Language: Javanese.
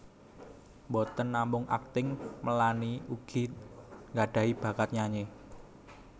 Boten namung akting Melanie ugi nggadhahi bakat nyanyi